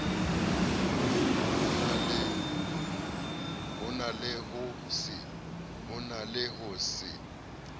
ho na le ho se